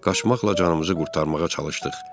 Qaçmaqla canımızı qurtarmağa çalışdıq.